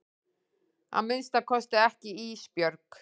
Að minnsta kosti ekki Ísbjörg.